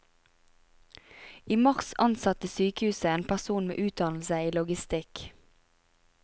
I mars ansatte sykehuset en person med utdannelse i logistikk.